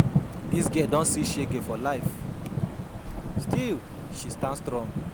Dis girl don see shege for life, still she stand strong.